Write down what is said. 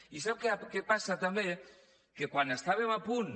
i sap què passa també que quan estàvem a punt